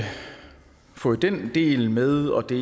fået den del med og det